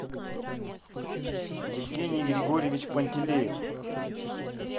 евгений григорьевич пантелеев